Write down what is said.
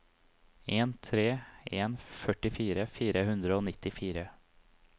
en tre tre en førtifire fire hundre og nittifire